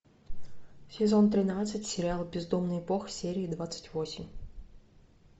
сезон тринадцать сериал бездомный бог серия двадцать восемь